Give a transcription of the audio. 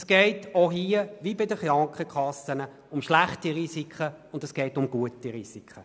Es geht auch hier wie bei den Krankenkassen um schlechte und gute Risiken.